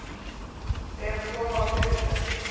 Fer að sofa á þriðjudaginn